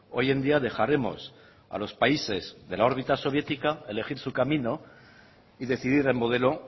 hoy en día dejaremos a los países de la órbita soviética elegir su camino y decidir el modelo